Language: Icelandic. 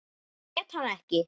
Grét hann ekki.